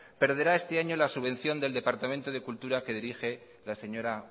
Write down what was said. perderá este año la subvención del departamento de cultura que dirige la señora